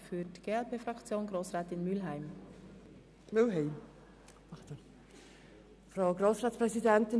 Für die glpFraktion hat Grossrätin Mühlheim das Wort.